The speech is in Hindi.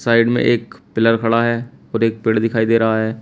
साइड में एक पिलर खड़ा है और एक पेड़ दिखाई दे रहा है।